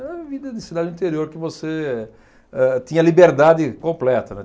Era a vida de cidade do interior que você eh tinha liberdade completa, né?